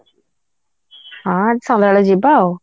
ହଁ ସନ୍ଧ୍ୟାବେଳେ ଯିବା ଆଉ